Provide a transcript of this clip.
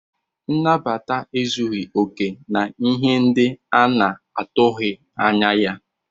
Nabata ezughị okè na ihe ndị a na-atụghị anya ya.